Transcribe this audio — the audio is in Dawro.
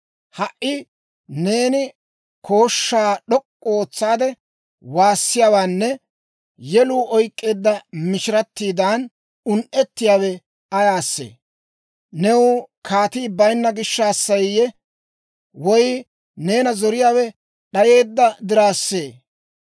Ha"i neeni kooshshaa d'ok'k'u ootsaade waassiyaawenne yeluu oyk'k'eedda mishiratiidan un"etsiyaawe ayaasee? New kaatii bayinna gishshaasseeyye? Woy neena zoriyaawe d'ayeedda diraassee?